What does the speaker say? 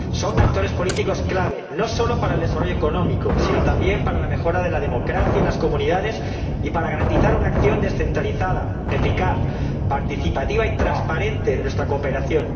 Son actores políticos clave, no solo para el desarrollo económico, sino también para la mejora de la democracia en las comunidades y para garantizar una acción descentralizada, eficaz, participativa y transparente de nuestra cooperación